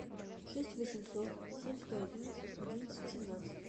шесть восемьсот семь сто одиннадцать одиннадцать семнадцать